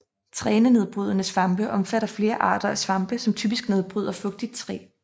Trænedbrydende svampe omfatter flere arter af svampe som typisk nedbryder fugtigt træ